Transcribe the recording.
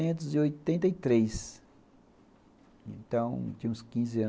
mil novecentos e oitenta e três Então, tinha uns quinze anos.